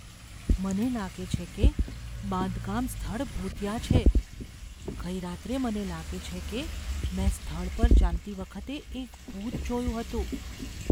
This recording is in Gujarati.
મને લાગે છે કે બાંધકામ સ્થળ ભૂતિયા છે. ગઈ રાત્રે મને લાગે છે કે મેં સ્થળ પર ચાલતી વખતે એક ભૂત જોયું હતું.